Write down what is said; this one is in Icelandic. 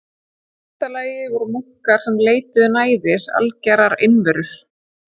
Í fyrsta lagi voru munkar sem leituðu næðis og algerrar einveru.